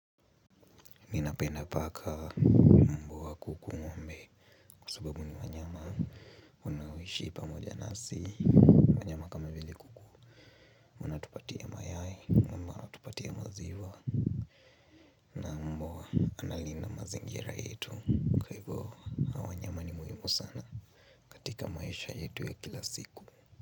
Ninapenda paka, mbwa, kuku, ng'ombe kwa sababu ni wanyama wanaoishi pamoja nasi. Wanyama kama vele kuku wanatupatia mayai ama watupatia maziwa. Na mbwa analinda mazingira yetu kwa hivyo. Hawa wanyama ni muhimu sana katika maisha yetu ya kila siku.